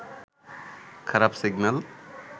খারাপ সিগন্যাল